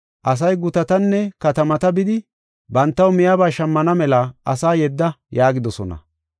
Asay gutatanne katamata bidi bantaw miyaba shammana mela asa yedda” yaagidosona.